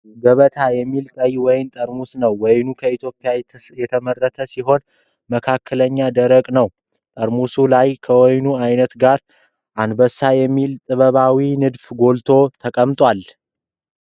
ገበታ የሚባል ቀይ ወይን ጠርሙስ ነው። ወይኑ ከኢትዮጵያ የተመረተ ሲሆን፣ መካከለኛ ደረቅ ነው። ጠርሙሱ ላይ ከወይኑ ዓይነት ጋር፣ አንበሳ የሚመስል ጥበባዊ ንድፍ ጎልቶ ተቀምጧል።